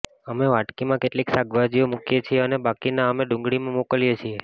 અમે વાટકીમાં કેટલીક શાકભાજીઓ મૂકીએ છીએ અને બાકીના અમે ડુંગળીમાં મોકલીએ છીએ